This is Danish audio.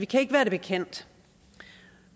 kan være det bekendt